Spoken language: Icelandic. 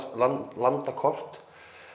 landakort